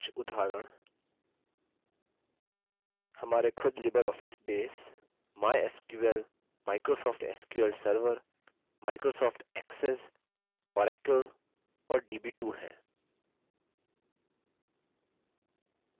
कुछ उदाहरण हमारे खुद libreoffice base mysql microsoft sql server microsoft access oracle और db2 हैं